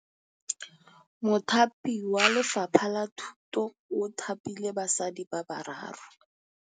Mothapi wa Lefapha la Thutô o thapile basadi ba ba raro.